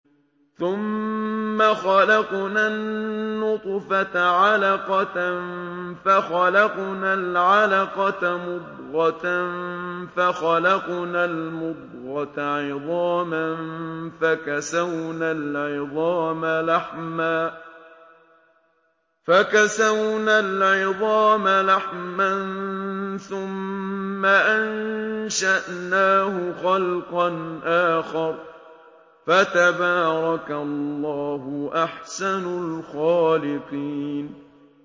ثُمَّ خَلَقْنَا النُّطْفَةَ عَلَقَةً فَخَلَقْنَا الْعَلَقَةَ مُضْغَةً فَخَلَقْنَا الْمُضْغَةَ عِظَامًا فَكَسَوْنَا الْعِظَامَ لَحْمًا ثُمَّ أَنشَأْنَاهُ خَلْقًا آخَرَ ۚ فَتَبَارَكَ اللَّهُ أَحْسَنُ الْخَالِقِينَ